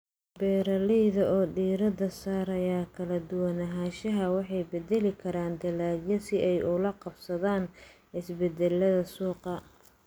Beeralayda oo diiradda saaraya kala duwanaanshaha waxay bedeli karaan dalagyada si ay ula qabsadaan isbeddellada suuqa.